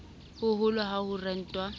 ho hoholo ha ho rentwa